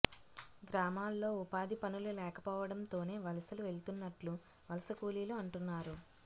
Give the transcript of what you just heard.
గ్రామాల్లో ఉపాధి పనులు లేకపోవడంతోనే వలసలు వెళ్తున్నట్లు వలస కూలీలు అంటున్నారు